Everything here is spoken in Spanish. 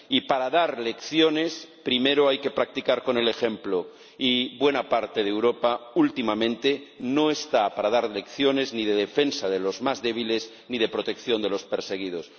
Y para dar lecciones primero hay que practicar con el ejemplo, y buena parte de Europa últimamente no está para dar lecciones ni de defensa de los más débiles ni de protección de los perseguidos.